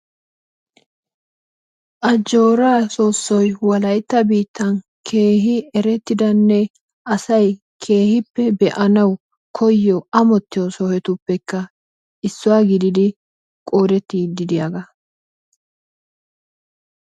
Ajjoraa soossoy wolaitta biittan keehi erettidane asay keehiippe beanawu koyiyo amottiyo sohottuppekka issuwa gididi qoodettidi diyaagaa.